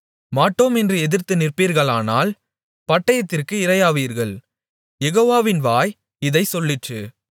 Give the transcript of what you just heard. மாட்டோம் என்று எதிர்த்து நிற்பீர்களானால் பட்டயத்திற்கு இரையாவீர்கள் யெகோவாவின் வாய் இதைச் சொல்லிற்று